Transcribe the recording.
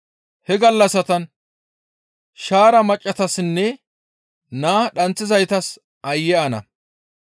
He gallassatan shaara maccassatassinne naa dhanththizaytas aayye ana!